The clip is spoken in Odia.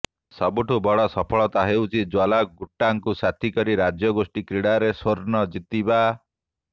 ସବୁଠୁ ବଡ଼ ସଫଳତା ହେଉଛି ଜ୍ୱାଲା ଗୁଟ୍ଟାଙ୍କୁ ସାଥୀ କରି ରାଜ୍ୟଗୋଷ୍ଠୀ କ୍ରୀଡ଼ାରେ ସ୍ୱର୍ଣ୍ଣ ଜିତିବା